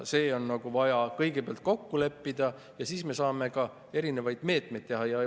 See on vaja kõigepealt kokku leppida ja siis me saame ka erinevaid meetmeid.